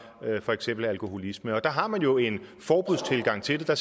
for eksempel alkoholisme der har man jo en forbudstilgang til det der